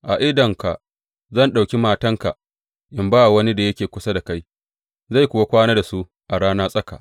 A idanunka zan ɗauki matanka in ba wa wani da yake kusa da kai, zai kuwa kwana da su da rana tsaka.